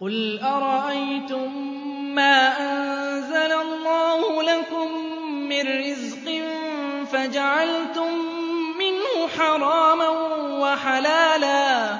قُلْ أَرَأَيْتُم مَّا أَنزَلَ اللَّهُ لَكُم مِّن رِّزْقٍ فَجَعَلْتُم مِّنْهُ حَرَامًا وَحَلَالًا